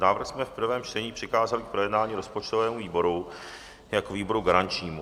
Návrh jsme v prvém čtení přikázali k projednání rozpočtovému výboru jako výboru garančnímu.